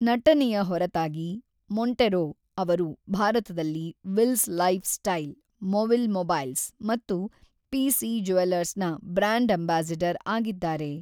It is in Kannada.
ನಟನೆಯ ಹೊರತಾಗಿ ಮೊಂಟೆರೊ ಅವರು ಭಾರತದಲ್ಲಿ ವಿಲ್ಸ್ ಲೈಫ್‌ಸ್ಟೈಲ್, ಮೊವಿಲ್ ಮೊಬೈಲ್ಸ್ ಮತ್ತು ಪಿ.ಸಿ. ಜ್ಯುವೆಲರ್ಸ್‌ನ ಬ್ರಾಂಡ್ ಅಂಬಾಸಿಡರ್ ಆಗಿದ್ದಾರೆ.